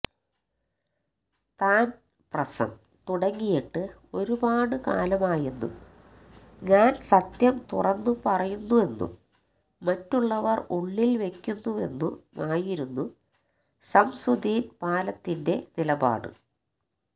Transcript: താൻ പ്രസം തുടങ്ങിയിട്ട് ഒരുപാട് കാലമായെന്നും ഞാൻ സത്യം തുറന്നു പറയുന്നെന്നും മറ്റുള്ളവർ ഉള്ളിൽ വെയ്ക്കുന്നുവെന്നുമായിരുന്നു ശംസുദ്ദീൻ പാലത്തിന്റെ നിലപാട്